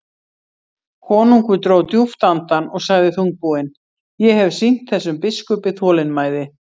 Konungur dró djúpt andann og sagði þungbúinn:-Ég hef sýnt þessum biskupi þolinmæði.